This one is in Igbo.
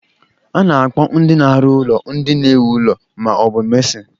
A na-akpọ ndị na-arụ ụlọ ndị na-ewu ụlọ ma ọ bu Mesịn